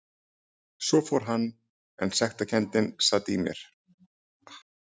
Svo fór hann en sektarkenndin sat í mér áfram.